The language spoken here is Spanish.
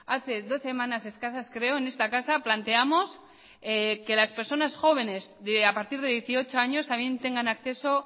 hace dos semanas escasas creo en esta casa planteamos que las personas jóvenes de a partir de dieciocho años también tengan acceso